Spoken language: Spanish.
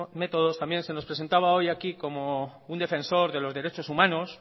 métodos también se nos presentaba hoy aquí como un defensor de los derechos humanos